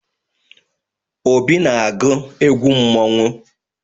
Obi na-agwụ egwụ mmọnwụ.